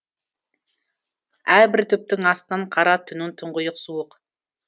әрбір түптің астын қара түннің тұңғиық суық